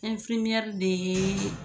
Ɛnfirimiyɛri de yeee